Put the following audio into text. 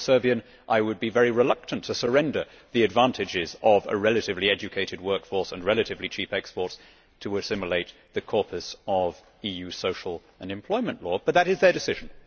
If I were Serbian, I would be very reluctant to surrender the advantages of a relatively educated workforce and relatively cheap exports to assimilate the corpus of EU social and employment law, but that is their decision.